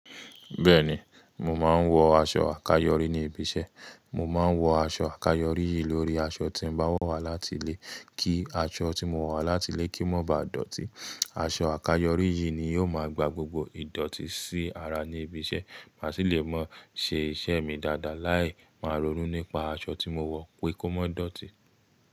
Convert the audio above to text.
Bẹ́ẹ̀ni, mo máa ń wọ aṣọ àkáyọrí ní ibi iṣẹ́. Mo máa ń wọ aṣọ àkáyọrí yìí lórí aṣọ tí n bá wo wá látilé kí aṣọ tí mo wo wá látilé kí o ma ba dọ̀tí. Aṣọ àkáyọrí yìí ni yóò máa gba gbogbo ìdọ̀tí sí ara ní ibi iṣẹ́, má sì lè máa ṣe iṣẹ́ mi dáadáa láì máa rorú nípa aṣọ tí mo wọ pé kó má dọ̀tí.